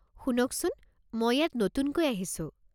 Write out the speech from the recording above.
শুনকচোন, মই ইয়াত নতুনকৈ আহিছোঁ।